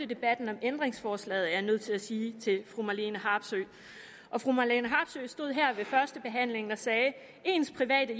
debatten om ændringsforslaget er jeg nødt til at sige til fru marlene harpsøe og fru marlene harpsøe stod her ved førstebehandlingen og sagde ens private